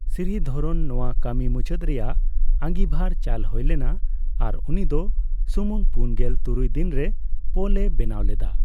ᱥᱨᱤᱫᱷᱚᱨᱚᱱ ᱱᱚᱣᱟ ᱠᱟᱹᱢᱤ ᱢᱩᱪᱟᱹᱫ ᱨᱮᱭᱟᱜ ᱟᱹᱜᱤᱵᱷᱟᱨ ᱪᱟᱞ ᱦᱳᱭ ᱞᱮᱱᱟ ᱟᱨ ᱩᱱᱤᱫᱚ ᱥᱩᱢᱩᱝ ᱯᱩᱱᱜᱮᱞ ᱛᱩᱨᱩᱭ ᱫᱤᱱ ᱨᱮ ᱯᱳᱞ ᱮ ᱵᱮᱱᱟᱣ ᱞᱮᱫᱟ ᱾